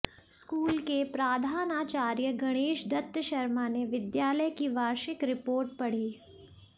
school के प्रधानाचार्य गणेश दत्त शर्मा ने विद्यालय की वार्षिक रिपोर्ट पढ़ी